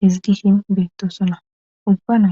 hizgishin beettosana ubba nayti.